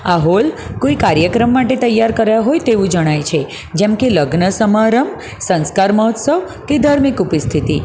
આ હોલ કોઈ કાર્યક્રમ માટે તૈયાર કર્યા હોય તેવું જણાય છે કેમ કે લગ્ન સમારંભ સંસ્કાર મહોત્સવ કે ધાર્મિક ઉપિસ્થિતિ.